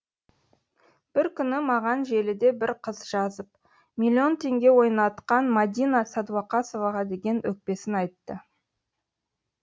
бір күні маған желіде бір қыз жазып миллион теңге ойнатқан мадина сәдуақасоваға деген өкпесін айтты